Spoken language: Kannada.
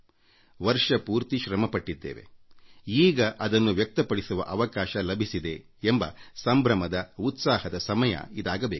ವರ್ಷಪೂರ್ತಿ ಶ್ರಮಪಟ್ಟ ಬಳಿಕ ಒಬ್ಬಬ್ಬರಿಗೂ ಅದನ್ನು ವ್ಯಕ್ತಪಡಿಸುವ ಅವಕಾಶ ಲಭಿಸಿದೆ ಎಂಬ ಸಂಭ್ರಮದ ಉತ್ಸಾಹದ ಸಮಯ ಇದಾಗಬೇಕು